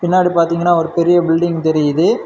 பின்னாடி பாத்தீங்கன்னா ஒரு பெரிய பில்டிங் தெரியுது.